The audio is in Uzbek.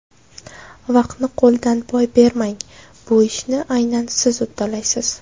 Vaqtni qo‘ldan boy bermang, bu ishni aynan siz uddalaysiz!